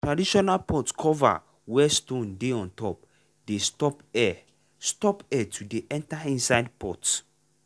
traditional pot cover wey stone dey untop dey stop air stop air to dey enter inside pot.